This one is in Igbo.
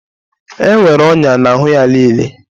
E nwere ọnya n'ahụ ya niile